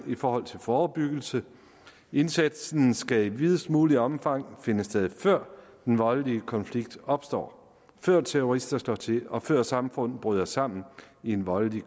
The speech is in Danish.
i forhold til forebyggelse indsatsen skal i videst muligt omfang finde sted før den voldelige konflikt opstår før terrorister slår til og før samfund bryder sammen i voldelige